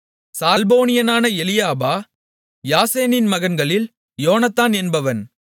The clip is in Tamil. சால்போனியனான ஏலியாபா யாசேனின் மகன்களில் யோனத்தான் என்பவன்